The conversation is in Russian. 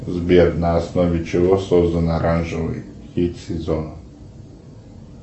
сбер на основе чего создан оранжевый хит сезона